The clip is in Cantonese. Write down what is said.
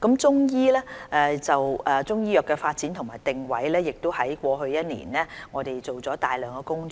就中醫藥的發展和定位，我們在過去一年做了大量工作。